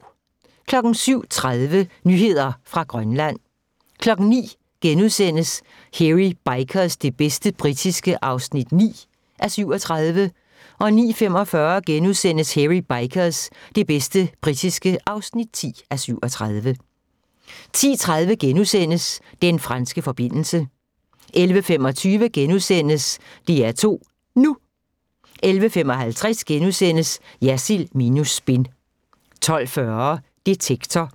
07:30: Nyheder fra Grønland 09:00: Hairy Bikers – det bedste britiske (9:37)* 09:45: Hairy Bikers – det bedste britiske (10:37)* 10:30: Den franske forbindelse * 11:25: DR2 NU * 11:55: Jersild minus spin * 12:40: Detektor